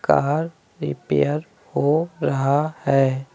Car repair हो रहा है।